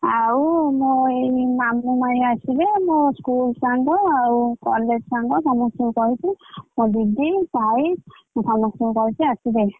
ଆଉ ମୋ ଏଇ ମାମୁ ମାଇଁ ଆସିବେ ମୋ school ସାଙ୍ଗ ଆଉ college ସାଙ୍ଗ ସମସ୍ତଙ୍କୁ କହିଛି ମୋ ଦିଦି।